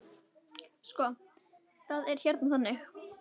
Sko, það er hérna þannig.